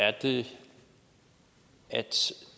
er det